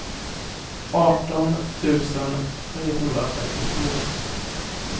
arton tusen trehundratrettiofyra